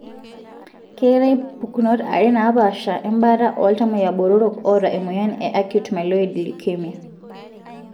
keetae pukunot are napaasha embaata oltamoyia botoro oata emoyian e acute myeloid leukemia.